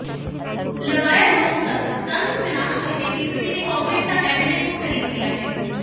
लगाया लोकतंत्र तंत्र विनाश करके बीजेपी ने कांग्रेस का एमएलए को खरीद लिया है